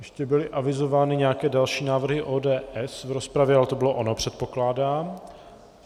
Ještě byly avizovány nějaké další návrhy ODS v rozpravě, ale to bylo ono, předpokládám.